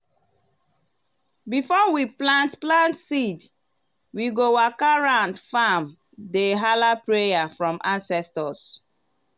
before we plant plant seed we go waka round farm dey hala prayer from ancestors.